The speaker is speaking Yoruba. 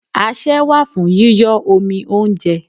Asẹ́ wà fún yíyọ́ omi óúnjẹ.